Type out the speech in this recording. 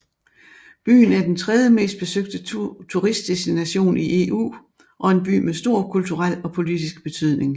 Byen er den tredjemest besøgte turistdestination i EU og en by med stor kulturel og politisk betydning